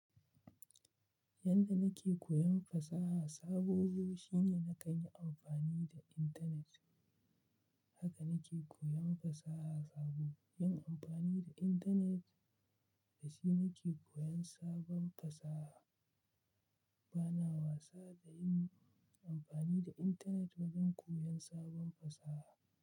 Yanda nake koyan fasaha sabobi shine na kan yi amfani da internet. Haka nake koyan fasaha sabo. Yin amfani da internet da shi nake koyan sabon fasaha. Bana wasa da yin amfani da internet wajen koyan sabon fasaha.